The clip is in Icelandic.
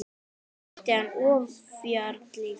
Loks mætti hann ofjarli sínum.